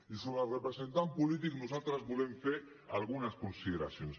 i sobre el representant polític nosaltres volem fer algunes consideracions